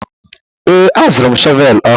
Ee, azụrụ m shọvel ọhụrụ.